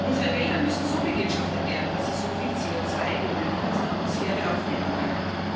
Unsere Wälder müssen so bewirtschaftet werden, dass sie so viel CO2 wie möglich aus der Atmosphäre aufnehmen können.